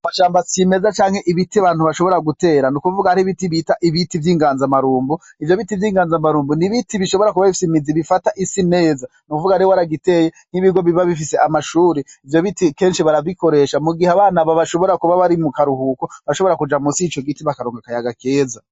Amashamba cimeza canke ibiti abantu bashobora gutera nukuvuga ibiti bita ibiti vyingaza maronko ivyo biti vyinganza maronko nibiti bishobora kuba bifata imizi neza nukuvuga rero waragiteye nkibigo biba bifise amashure ivyo biti kenshi barabikoresha mugihe abana baba bari mukaruhuko bashobora kuja musi yico giti bakaruhuka kararonka akayaga keza